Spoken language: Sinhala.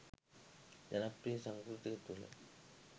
ජනප්‍රිය සංස්කෘතිය තුළ